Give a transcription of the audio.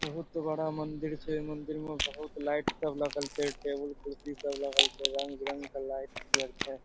बहुत बड़ा मंदिर छे। मंदिर में बहुत लाइट सब लगल छे। टेबल कुर्सी सब लागल छे। रंग बिरंग के लाइट लगल छे।